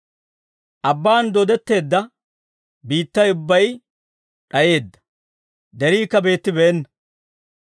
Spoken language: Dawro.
Abbaan dooddetteedda biittay ubbay d'ayeedda; deriikka beettibeenna.